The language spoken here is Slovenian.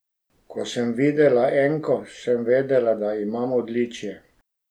Ko sem videla enko, sem vedela, da imam odličje.